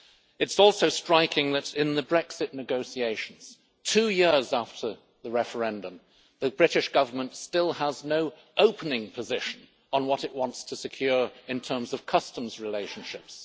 It is also striking that in the Brexit negotiations, two years after the referendum, the British Government still has no opening position on what it wants to secure in terms of customs relationships.